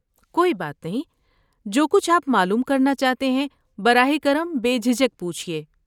کوئی بات نہیں، جو کچھ آپ معلوم کرنا چاہتے ہیں براہ کرم بے جھجک پوچھیے۔